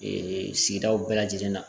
Ee sigidaw bɛɛ lajɛlen na